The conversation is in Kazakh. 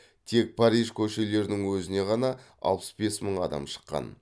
тек париж көшелерінің өзіне ғана алпыс бес мың адам шыққан